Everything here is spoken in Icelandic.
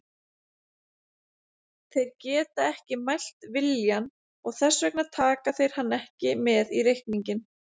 Þeir geta ekki mælt viljann, og þess vegna taka þeir hann ekki með í reikninginn.